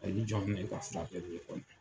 Ni y'i jɔn ni ne ka furakɛli ye kɔni.